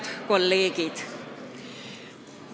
Head kolleegid!